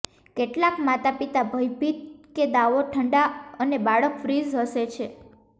કેટલાક માતાપિતા ભયભીત કે દાવો ઠંડા અને બાળક ફ્રીઝ હશે છે